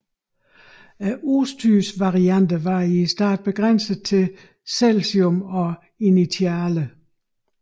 Udstyrsvarianterne var i starten begrænset til Celsium og Initiale